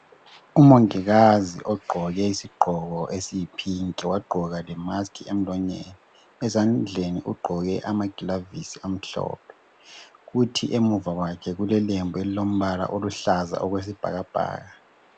Umongikazi ogqoke isigqoko esiyi pink wagqoka le mask emlonyeni ezandleni ugqoke amagilavusi amhlophe kuthi emuva kwakhe kule lembu elilombala oluhlaza okwesibhakabhaka.